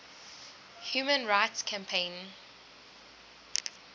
human rights campaign